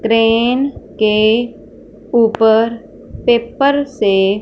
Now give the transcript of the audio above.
crane के ऊपर paper से --